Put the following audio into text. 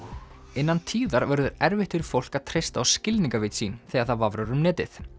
innan tíðar verður erfitt fyrir fólk að treysta á skilningarvit sín þegar það vafrar um netið